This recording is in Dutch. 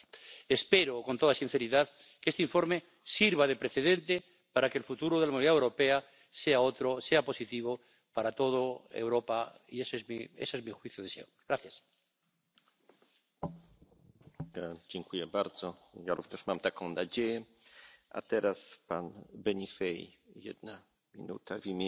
is. De uitdaging waar wij voor staan, kunnen de afzonderlijke lidstaten niet in hun eentje oplossen. We hebben een gezamenlijke Europese aanpak nodig, een aanpak die inzet op innovatie